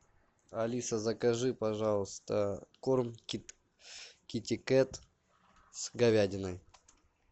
алиса закажи пожалуйста корм китикет с говядиной